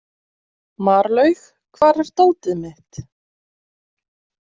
Marlaug, hvar er dótið mitt?